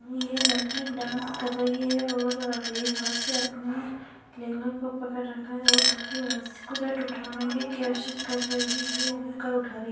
ये लड़की डांस कर रही है और एक हाथ से अपनी लहंगा को पकड़ रखा है और दूसरी हाथ से उठाने की कोसिस कर रही है उठा रही है |